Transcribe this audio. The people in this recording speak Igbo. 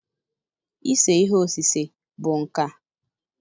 Ise ihe osise bụ nka.